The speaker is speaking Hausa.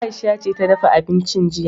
Aisha ce ta dafa abincin jiya.